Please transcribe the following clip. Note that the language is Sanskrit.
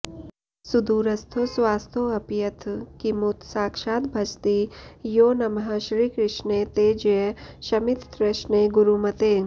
सुदूरस्थो स्वस्थोऽप्यथ किमुत साक्षाद्भजति यो नमः श्रीकृष्णे ते जय शमिततृष्णे गुरुमते